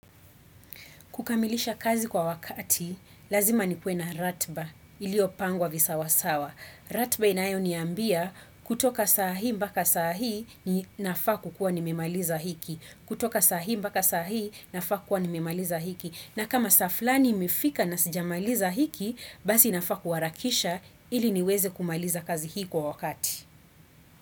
Kukamilisha kazi kwa wakati, lazima ni kuwe na ratiba, ilio pangwa visawasawa. Ratba inayo niambia kutoka sahii mpaka sahii ni nafaa kuwa nimemaliza hiki. Kutoka sahi mbaka sahi nafaku kwa nimimaliza hiki. Na kama saa fulani imefika na sijamaliza hiki, basi nafaa kuharakisha ili niweze kumaliza kazi hii kwa wakati.